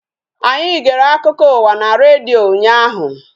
Anyi gere akụkọ ụwa n' redio ụnyaahụ